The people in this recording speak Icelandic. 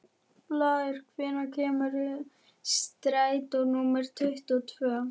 Blær, hvenær kemur strætó númer tuttugu og tvö?